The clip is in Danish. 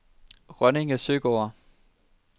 Rønninge Søgård